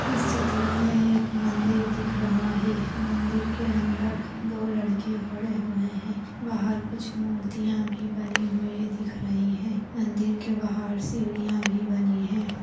इस चित्र मे एक मंदिर दिख रहा है मंदिर के अंदर दो लड़के खड़े हुए है बाहर कुछ मूर्तिया भी बनी हुई दिख रही है मंदिर के बाहर सीढ़िया भी बनी है।